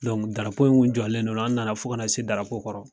darapo in kun jɔlen do an na fo ka na se darapo kɔrɔ.